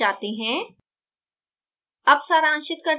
अब slides पर जाते हैं